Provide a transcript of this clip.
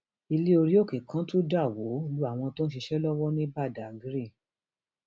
ilẹ orí òkè kan tún dà wó lu àwọn tó ń ṣiṣẹ lọwọ ní badág